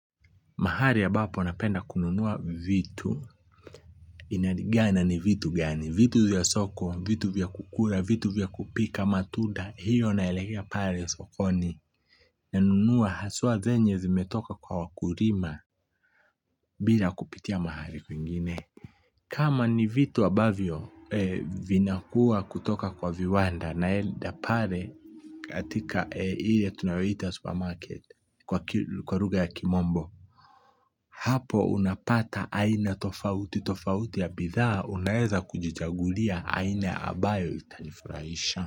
Mahari ambapo napenda kununua vitu, inaligana ni vitu gani, vitu vya soko, vitu vya kukula, vitu vya kupika, matunda, hiyo naelekea pale sokoni, nanunua haswa zenye zimetoka kwa wakurima bila kupitia mahali kwingine. Kama ni vitu ambavyo vinakua kutoka kwa viwanda naenda pale kwa ile tunaita supermarket kwa lugha ya kimombo. Hapo unapata aina tofauti tofauti ya bidhaa unaeza kujichagulia aina abayo itanifurahisha.